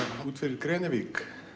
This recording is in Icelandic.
út fyrir Grenivík